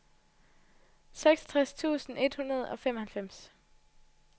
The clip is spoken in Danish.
seksogtres tusind et hundrede og femoghalvfems